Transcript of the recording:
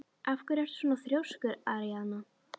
Af hverju ertu svona þrjóskur, Aríaðna?